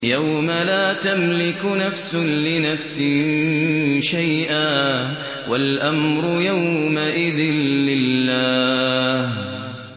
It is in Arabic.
يَوْمَ لَا تَمْلِكُ نَفْسٌ لِّنَفْسٍ شَيْئًا ۖ وَالْأَمْرُ يَوْمَئِذٍ لِّلَّهِ